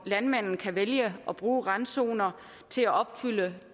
landmanden kan vælge at bruge randzoner til at opfylde